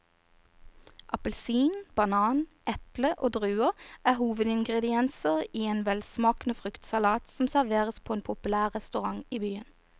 Appelsin, banan, eple og druer er hovedingredienser i en velsmakende fruktsalat som serveres på en populær restaurant i byen.